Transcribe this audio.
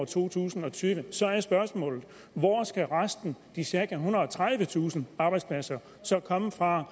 to tusind og tyve så er spørgsmålet hvor skal resten de cirka ethundrede og tredivetusind arbejdspladser komme fra